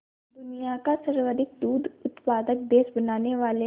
दुनिया का सर्वाधिक दूध उत्पादक देश बनाने वाले